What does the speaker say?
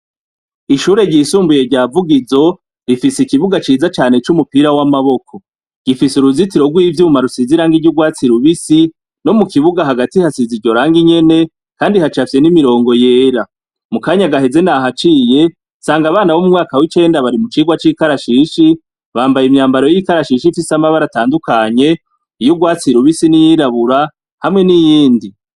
Ishure ryisumbuye ryavugizo rifise ikibuga ciza cane c'umupira w'amaboko gifise uruzitiro rw'ivyuma rusizirang iryo urwatsi lubisi no mu kibuga hagati hasiza ijorange inyene, kandi hacafye n'imirongo yera mu kanya agaheze nahaciye sanga abana b'umwaka w'ikenda bari mu kirwa c'ikarashishi bambaye imyambaro e itarashisha imfisi amabara atandukanye iyo urwatsirubisi n'iyirabura hamwe n'iyindi.